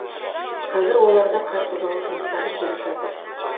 қазір оларда қар тазалау жұмыстары жүріп жатыр